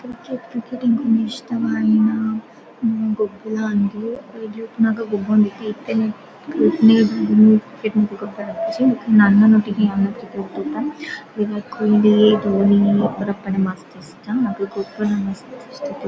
Cricket cricket ಎಂಕ್ ಇಂದು ಇಷ್ಟವಾಯಿನ ಗೊಬ್ಬುಲ ಅಂದ್ ಎಲ್ಯ ಉಪ್ಪುನಗ ಗೊಬ್ಬೊಂದಿತ್ತ ಇತ್ತೆನೆ ಗೊಬ್ಬೆರೆ ಆಪುಜಿ ಅಣ್ಣನೊಟಿಗೆ ಯಾನ್ಲ ಕ್ರಿಕೆಟ್ ತೂಪೆ ಬೊಕ ಕೊಹ್ಲಿ ಧೋನಿ ಮಸ್ತ್ ಇಷ್ಟ ಅಕುಲು ಗೊಬ್ಬುನ ಮಸ್ತ್ ಇಷ್ಟ.